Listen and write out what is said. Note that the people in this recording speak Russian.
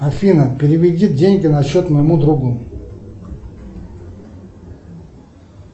афина переведи деньги на счет моему другу